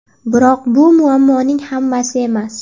Biroq bu muammoning hammasi emas.